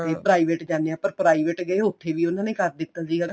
ਕਈ private ਜਾਨੇ ਆ ਪਰ private ਗਏ ਉੱਥੇ ਵੀ ਉਨ੍ਹਾਂ ਨੇ ਕਰ ਦਿੱਤਾ ਸੀਗਾ